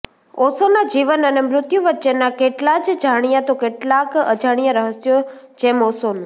ઓશોના જીવન અને મૃત્યુ વચ્ચેના કેટલાંજ જાણ્યાં તો કેટલાંક અજાણ્યાં રહસ્યોઃ જેમ ઓશોનું